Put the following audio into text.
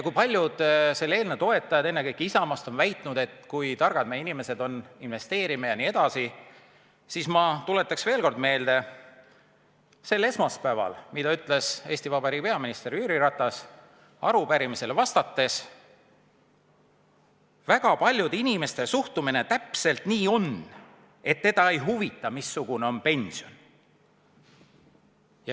Kui paljud selle eelnõu toetajad, ennekõike Isamaast, on väitnud, kui targad meie inimesed on investeerima jne, siis ma tuletan veel kord meelde, mida sel esmaspäeval ütles Eesti Vabariigi peaminister Jüri Ratas arupärimisele vastates: "Väga paljude inimeste suhtumine täpselt nii ongi, et neid ei huvita, missugune on pension.